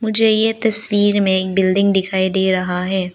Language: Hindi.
मुझे ये तस्वीर में एक बिल्डिंग दिखाई दे रहा है।